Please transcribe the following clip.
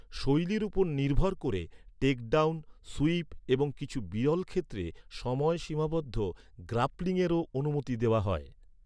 শৈলীর উপর নির্ভর করে, টেক ডাউন, সুইপ এবং কিছু বিরল ক্ষেত্রে সময় সীমাবদ্ধ গ্রাপ্লিংয়েরও অনুমতি দেওয়া হয়।